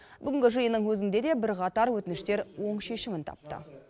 бүгінгі жиынның өзінде де бірқатар өтініштер оң шешімін тапты